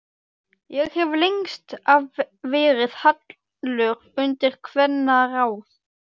Ég hef lengst af verið hallur undir kvennaráð.